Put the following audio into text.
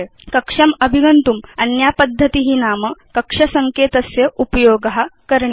कक्षम् अभिगन्तुम् अन्या पद्धति नाम कक्ष सङ्केतस्य उपयोग करणीय